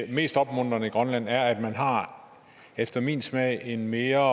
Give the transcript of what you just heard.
det mest opmuntrende i grønland er at man efter min smag har en mere